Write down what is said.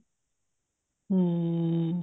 ਹਮ